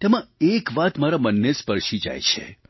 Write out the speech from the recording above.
તેમાં એક વાત મારા મનને સ્પર્શી જાય છે